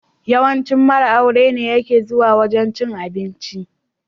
Yawancin mara aure ne yake zuwa wajan cin abinci.